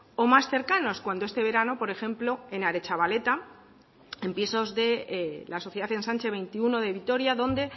o más cercanos cuando este verano por ejemplo en aretxabaleta en pisos de la sociedad ensanche veintiuno de vitoria donde